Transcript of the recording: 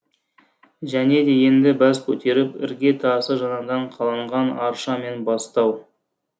және де енді бас көтеріп ірге тасы жаңадан қаланған арша мен бастау